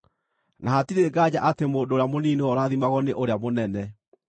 Na hatirĩ nganja atĩ mũndũ ũrĩa mũnini nĩwe ũrathimagwo nĩ ũrĩa mũnene.